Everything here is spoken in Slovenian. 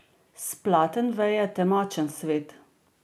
S platen veje temačen svet.